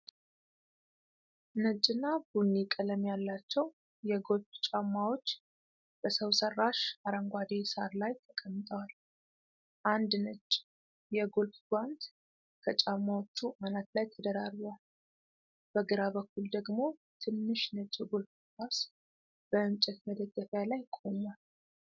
ነጭና ቡኒ ቀለም ያላቸው የጎልፍ ጫማዎች በሰው ሰራሽ አረንጓዴ ሳር ላይ ተቀምጠዋል። አንድ ነጭ የጎልፍ ጓንት ከጫማዎቹ አናት ላይ ተደራርቧል። በግራ በኩል ደግሞ ትንሽ ነጭ የጎልፍ ኳስ በእንጨት መደገፊያ ላይ ቆሟል።